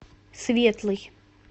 светлый